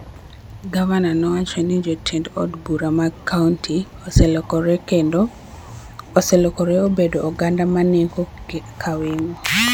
Gavana nowacho ni jotend od bura mag kaonti oselokore obedo �oganda ma neko ka weng'o�.